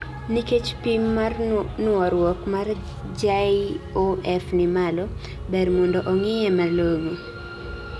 Nikech pim mar nuoruok mar JOF ni malo, ber mondo ong'iye malong'o